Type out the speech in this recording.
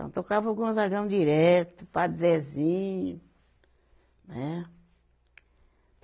Então, tocava o Gonzagão direto, Padre Zezinho. Né